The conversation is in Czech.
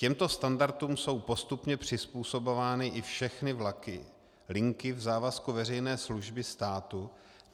Těmto standardům jsou postupně přizpůsobovány i všechny vlaky linky v závazku veřejné služby státu.